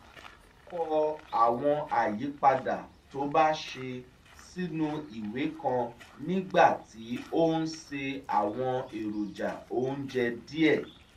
ó kọ àwọn àyípadà tó bá ṣe sínú ìwé kan nígbà tí ó ń se àwọn èròjà oúnjẹ díẹ̀